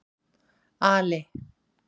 Ali